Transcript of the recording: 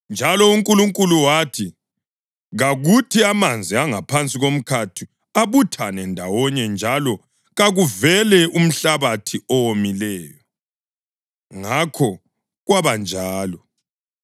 Njalo uNkulunkulu wathi, “Kakuthi amanzi angaphansi komkhathi abuthane ndawonye njalo kakuvele umhlabathi owomileyo.” Ngakho kwabanjalo.